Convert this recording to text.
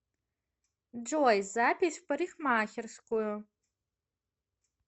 джой запись в парикхмакерскую